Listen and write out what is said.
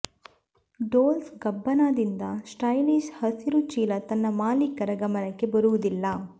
doles ಗಬ್ಬಾನಾದಿಂದ stylish ಹಸಿರು ಚೀಲ ತನ್ನ ಮಾಲೀಕರ ಗಮನಕ್ಕೆ ಬರುವುದಿಲ್ಲ